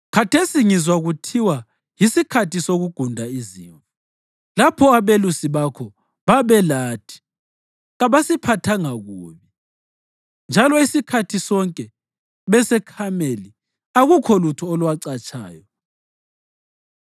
Khathesi ngizwa kuthiwa yisikhathi sokugunda izimvu. Lapho abelusi bakho babelathi, kasibaphathanga kubi, njalo isikhathi sonke beseKhameli akukho lutho olwacatshayo.